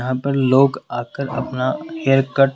यहां पर लोग आकर अपना हेयर कट --